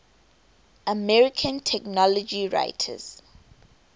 american technology writers